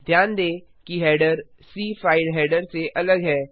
ध्यान दें कि हेडर सी फाइल हेडर से अलग है